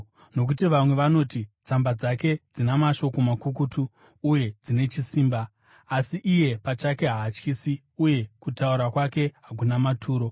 Nokuti vamwe vanoti, “Tsamba dzake dzina mashoko makukutu uye dzine chisimba, asi iye pachake haatyisi uye kutaura kwake hakuna maturo.”